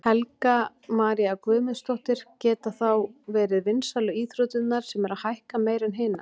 Helga María Guðmundsdóttir: Geta þá verið vinsælu íþróttirnar sem eru að hækka meira en hinar?